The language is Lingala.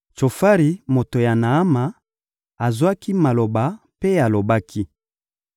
Tsofari, moto ya Naama, azwaki maloba mpe alobaki: